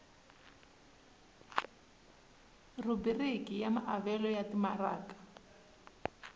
rhubiriki ya maavelo ya timaraka